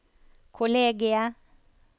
kollegiet